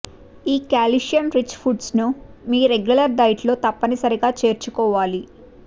ఈ calcium rich foods ను మీ రెగ్యులర్ డైట్ లో తప్పనిసరిగా చేర్చుకోవాలి